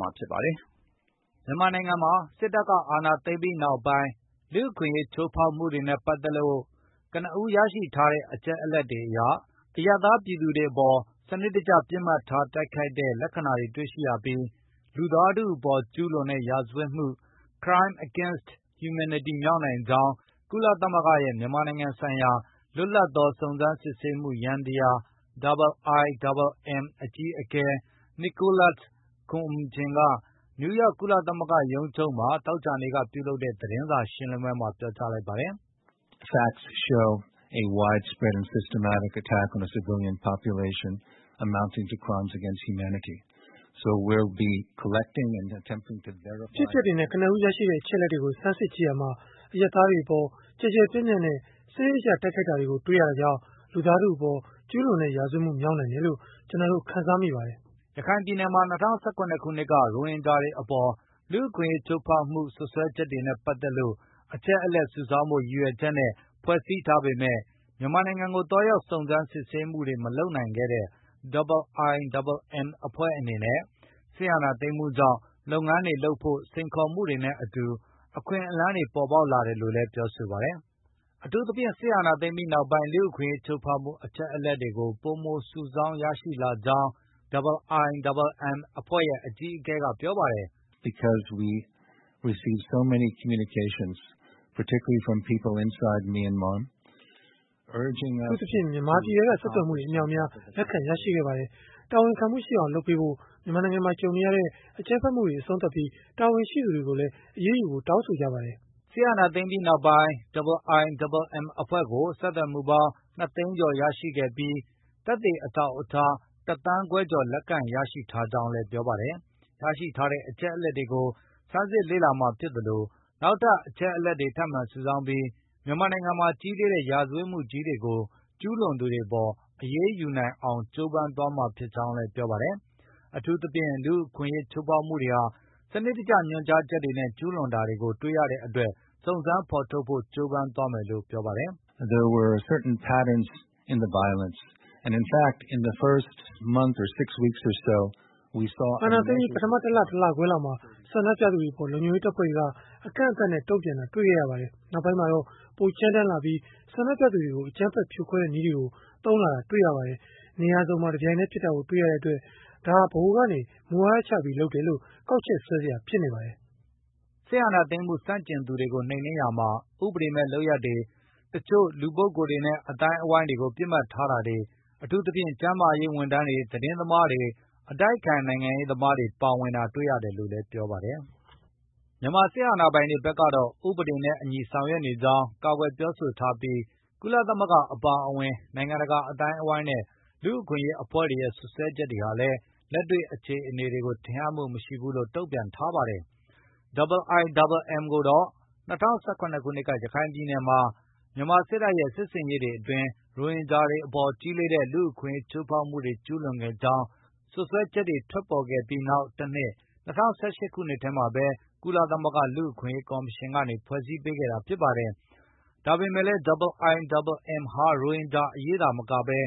မှာ ဖြစ်ပါတယ်။ စစ်အာဏာသိမ်းပြီးနောက်ပိုင်း လူ့အခွင့်အရေး ချိုးဖောက်မှုတွေနဲ့ ပတ်သက်လို့ ကနဦး ရရှိထားတဲ့ အချက်အလက်တွေအရ အရပ်သားပြည်သူတွေအပေါ် စနစ်တကျ ပစ်မှတ်ထား တိုက်ခိုက်တဲ့ လက္ခဏာတွေ တွေ့ရပြီး၊ လူသားထုအပေါ် ကျုးလွန်တဲ့ ရာဇဝတ်မှု မြောက်နိုင်ကြောင်း ကုလသမဂ္ဂရဲ့ မြန်မာနိုင်ငံဆိုင်ရာ လွတ်လပ်သော စုံစမ်းစစ်ဆေးမှု ယန္တယား (IIMM) အကြီးအကဲကပြောလိုက်တာပါ။ ဖေဖော်ဝါရီလ ၁ ရက်နေ့ စစ်တပ်က အာဏာသိမ်းပြီးနောက်ပိုင်း လူ့အခွင့်အရေး IIMM အကြီးအကဲ Nicholas Koumjian က နယူးယောက် ကုလသမဂ္ဂရုံးချုပ်က သောကြာနေ့ သတင်းစာ ရှင်းလင်းပွဲမှာ ပြောလိုက်ပါတယ်။ “အဖြစ်အပျက်တွေနဲ့ ကနဦး ရရှိတဲ့ အချက်အလက်တွေကို ဆန်းစစ်ကြည့်ရာမှာ အရပ်သားတွေအပေါ် ကျယ်ကျယ်ပြန့်ပြန့်နဲ့ စနစ်တကျ တိုက်ခိုက်တာတွေကို တွေ့ရတာကြောင့် လူသားထုအပေါ် ကျုးလွန်တဲ့ ရာဇဝတ်မှု မြောက်နိုင်တယ်လို့ ကျနော်တို့ ခံစားမိပါတယ်။” ရခိုင်ပြည်နယ်မှာ ၂၀၁၇ ခုနှစ်က ရိုဟင်ဂျာတွေအပေါ် လူ့အခွင့်အရေး ချိုးဖောက်မှု စွပ်စွဲချက်တွေနဲ့ ပတ်သက်လို့ အချက်အလက် စုဆောင်းဖို့ ရည်ရွယ်ချက်နဲ့ ဖွဲ့စည်းထားပေမဲ့ မြန်မာနိုင်ငံကို သွားရောက် စုံစမ်းစစ်ဆေးမှုတွေ မလုပ်နိုင်ခဲ့တဲ့ IIMM အဖွဲ့အနေနဲ့ စစ်အာဏာသိမ်းမှုကြောင့် လုပ်ငန်းတွေလုပ်ဖို့ စိန်ခေါ်မှုတွေနဲ့အတူ အခွင့်အလမ်းတွေ ပေါ်ပေါက်လာတယ်လို့လည်း ပြောပါတယ်။ အထူးသဖြင့် စစ်အာဏာသိမ်းပြီးနောက်ပိုင်း လူ့အခွင့်အရေး ချိုးဖောက်မှု အချက်အလက်တွေကို ပိုမို စုဆောင်း ရရှိလာကြောင်းလည်း IIMM အကြီးအကဲက ပြောပါတယ်။ “အထူးသဖြင့် မြန်မာပြည်ထဲက ဆက်သွယ်မှုတွေ အမြောက်အများ လက်ခံရရှိခဲ့ပါတယ်။ တာဝန်ခံမှုရှိအောင်လုပ်ပေးဖို့ မြန်မာနိုင်ငံမှာ ကြုံနေရတဲ့ အကြမ်းဖက်မှုတွေ အဆုံးသတ်ပြီး၊ တာဝန်ရှိသူတွေကိုလည်း အရေးယူဖို့ တောင်းဆိုကြပါတယ်။” စစ်အာဏာသိမ်းပြီးနောက်ပိုင်း IIMM အဖွဲ့ကို ဆက်သွယ်မှုပေါင်း ၂ သိန်းကျော် ရှိခဲ့ပြီး၊ သက်သေ အထောက်အထား ၁ သန်း ခွဲကျော် လက်ခံရရှိထားကြောင်းလည်း ပြောပါတယ်။ ရရှိထားတဲ့ အချက်အလက်တွေကို ဆန်းစစ်လေ့လာမှာ ဖြစ်သလို၊ နောက်ထပ်လည်း အချက်အလက်တွေ ထပ်မံစုဆောင်းပြီး မြန်မာနိုင်ငံမှာ ကြီးလေးတဲ့ ရာဇဝတ်မှုကြီးတွေကို ကျုးလွန်သူတွေအပေါ် အရေးယူနိုင်အောင် ကြိုးပမ်းသွားမှာ ဖြစ်ကြောင်းလည်း ပြောပါတယ်။ အထူးသဖြင့် လူ့အခွင့်အရေး ချိုးဖောက်မှုတွေဟာ စနစ်တကျ ညွှန်ကြားချက်တွေနဲ့ ကျုးလွန်တာတွေကို တွေ့ရှိရတဲ့အတွက် စုံစမ်းဖော်ထုတ်ဖို့ ကြိုးပမ်းသွားမယ်လို့လည်း ပြောပါတယ်။ “အာဏာသိမ်းပြီး ပထမ ၁ လ၊ ၁ လခွဲလောက်မှာ ဆန္ဒပြသူတွေအပေါ် လုံခြုံရေးတပ်ဖွဲ့တွေက အကန့်အသတ်နဲ့ တုံ့ပြန်တာ တွေ့ခဲ့ရပါတယ်။ နောက်ပိုင်းမှာတော့ ပိုကြမ်းတမ်းလာပြီး၊ ဆန္ဒပြသူတွေကို အကြမ်းဖက် ဖြိုခွဲတဲ့ နည်းတွေကို သုံးလာတာ တွေ့ရပါတယ်။ နေရာစုံမှာ တပြိုင်တည်း ဖြစ်တာကို တွေ့ရတဲ့အတွက် ဒါဟာ ဗဟိုကနေ မူဝါဒချပြီး လုပ်တယ်လို့ ကောက်ချက်ဆွဲစရာ ဖြစ်နေပါတယ်။” စစ်အာဏာသိမ်းမှု ဆန့်ကျင်သူတွေကို နှိမ်နင်းရာမှာ ဥပဒေမဲ့ လုပ်ရပ်တွေ၊ တချို့လူပုဂ္ဂိုလ်တွေနဲ့ အသိုင်းအဝန်းကို ပစ်မှတ်ထားတာတွေ၊ အထူးသဖြင့် ကျန်းမာရေး ဝန်ထမ်းတွေ၊ သတင်းသမားတွေ၊ အတိုက်အခံနိုင်ငံရေးသမားတွေ ပါဝင်တာ တွေ့ရတယ်လို့လည်း ပြောပါတယ်။ မြန်မာစစ်အာဏာပိုင်တွေ ဖက်ကတော့ ဥပဒေနဲ့အညီ ဆောင်ရွက်နေကြောင်း ကာကွယ်ပြောဆိုထားပြီး ကုလသမဂ္ဂ အပါအဝင် နိုင်ငံတကာ အသိုင်းအဝန်းနဲ့ လူ့အခွင့်အရေး အဖွဲ့တွေရဲ့ စွပ်စွဲချက်တွေဟာလည်း လက်တွေ့အခြေအနေတွေကို ထင်ဟပ်မှု မရှိဘူးဆိုပြီး တုံ့ပြန်ထားပါတယ်။ IIMM ကိုတော့ ၂၀၁၇ ခုနှစ်က ရခိုင်ပြည်နယ်မှာ မြန်မာစစ်တပ်ရဲ့ စစ်ဆင်ရေးတွေအတွင်း ရိုဟင်ဂျာတွေအပေါ် ကြီးလေးတဲ့ လူ့အခွင့်အရေး ချိုးဖောက်မှုတွေ ကျုးလွန်ခဲ့ကြောင်း စွပ်စွဲချက်တွေ ထွက်ပေါ်ခဲ့ပြီး နောက်တနှစ် ၂၀၁၈ ခုနှစ်မှာပဲ ကုလသမဂ္ဂ လူ့အခွင့် အရေးကော်မရှင်ကနေ ဖွဲ့စည်းပေးခဲ့တာဖြစ်ပါတယ်။ ဒါပေမယ့် လည်း IIMM ဟာ ရိုဟင်ဂျာအရေး သာမကပဲ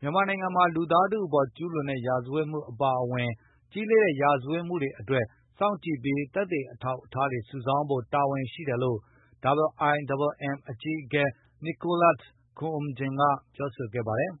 မြန်မာနိုင်ငံမှာ လူသားထုအပေါ် ကျုးလွန်တဲ့ ရာဇဝတ်မှု အပါအဝင် ကြီးလေးတဲ့ ရာဇဝတ်မှုတွေအတွက် စောင့်ကြည့်ပြီး သက်သေအထောက်အထားတွေ စုဆောင်းဖို့ တာဝန်ရှိတယ်လို့လည်း IIMM အကြီးအကဲ Nicholas Koumjian ကပြောဆိုခဲ့ပါတယ်